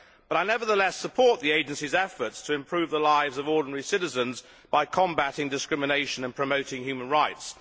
I nevertheless support the agency's efforts to improve the lives of ordinary citizens by combating discrimination and promoting human rights.